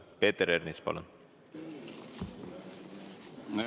Peeter Ernits, palun!